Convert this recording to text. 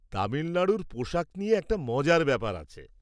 তামিলনাড়ুর পোশাক নিয়ে একটা মজার ব্যাপার আছে।